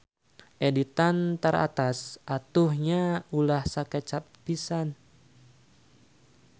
Editan taratas atuh nya ulah sakecap pisan.